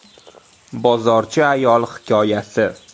Bozorchi ayol hikoyasi.